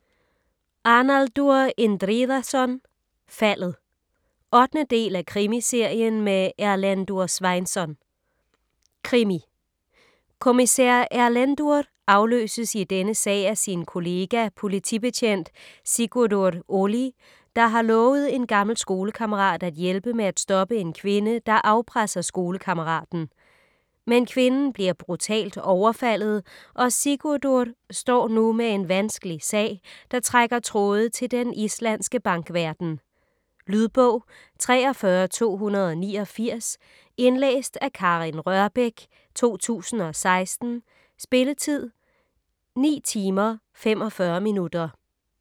Arnaldur Indriðason: Faldet 8. del af Krimiserien med Erlendur Sveinsson. Krimi. Kommissær Erlendur afløses i denne sag af sin kollega, politibetjent Sigurdur Óli, der har lovet en gammel skolekammerat at hjælpe med at stoppe en kvinde, der afpresser skolekammeraten. Men kvinden bliver brutalt overfaldet og Sigurdur står nu med en vanskelig sag, der trækker tråde til den islandske bankverden. . Lydbog 43289 Indlæst af Karin Rørbech, 2016. Spilletid: 9 timer, 45 minutter.